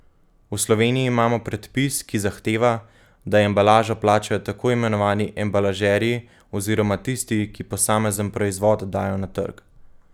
V Sloveniji imamo predpis, ki zahteva, da embalažo plačajo tako imenovani embalažerji oziroma tisti, ki posamezen proizvod dajo na trg.